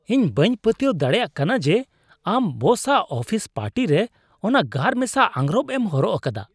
ᱤᱧ ᱵᱟᱹᱧ ᱯᱟᱹᱛᱭᱟᱹᱣ ᱫᱟᱲᱮᱭᱟᱜ ᱠᱟᱱᱟ ᱡᱮ ᱟᱢ ᱵᱚᱥᱟᱜ ᱟᱯᱷᱤᱥ ᱯᱟᱨᱴᱤᱨᱮ ᱚᱱᱟ ᱜᱟᱨᱢᱮᱥᱟ ᱟᱸᱜᱨᱚᱯ ᱮᱢ ᱦᱚᱨᱚᱜ ᱟᱠᱟᱫᱟ ᱾